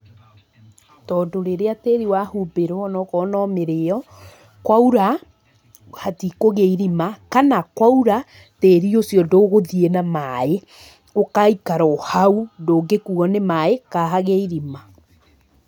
Tondũ rĩrĩa tĩĩri wahumbĩrwo ona okorwo no mĩrĩĩo, kwaura hatikũgĩa irima. Kana, kwaura tĩĩri ũcio ndũgũthiĩ na maaĩ, ũgaikara o hau. Ndũngĩkuo nĩ maaĩ kana hagĩe irima.